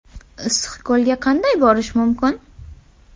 Issiqko‘lga qanday borish mumkin?